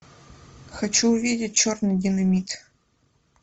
хочу увидеть черный динамит